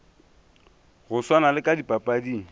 no swana le ka dipapading